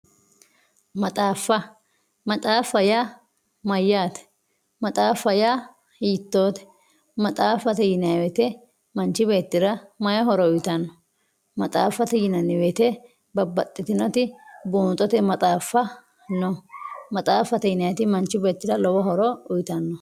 maxaaffa. maxaaffa yaa mayyaate maxaaffate yaa hiittoote maxaaffate yinayii woyiite manchi beettira may horo uyiitanno maxaaffate yinanni woyiite babbaxxitinoti buunxote maxaaffa no. maxaaffate yinayiiti manchi beettira lowo horo uyiitanno